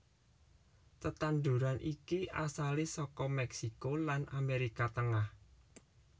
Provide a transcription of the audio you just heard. Tetanduran iki asalé saka Mèksiko lan Amérika Tengah